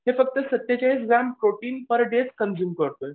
ते फक्त स्तेचाळीस gram protein per day consume करतोय.